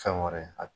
Fɛn wɛrɛ